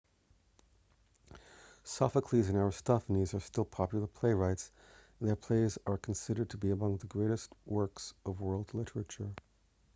sophocles and aristophanes are still popular playwrights and their plays are considered to be among the greatest works of world literature